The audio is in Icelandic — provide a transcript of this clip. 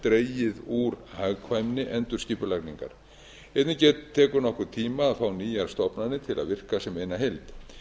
dregið úr hagkvæmni endurskipulagningar einnig tekur nokkurn tíma að fá nýjar stofnanir til að virka sem eina heild